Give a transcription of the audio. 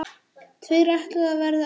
Tveir ætluðu að verða eftir.